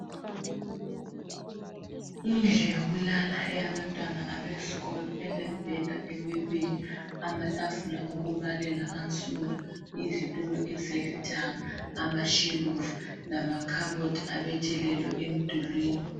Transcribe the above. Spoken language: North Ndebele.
Indlu yokulala yabantwana abesikolo ,elemibheda emibili, amatafula okubalela ansundu ,izitulo ezilithanga ,amashelufu ,lamakhabothi abethelelwe emdulwini.